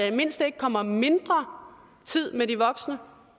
i det mindste ikke kommer mindre tid med de voksne